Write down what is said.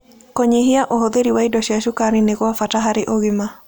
Kũnyĩhĩa ũhũthĩrĩ wa irio cia cũkarĩ nĩ gwa bata harĩ ũgima